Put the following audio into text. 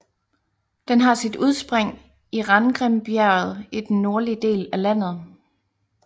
Den har sit udspring i Rangrimbjerget i den nordlige del af landet